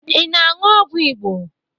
Ị na-aṅụ ọgwụ Igbo